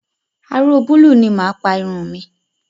Aró búúlù ni mà á pa irun mi.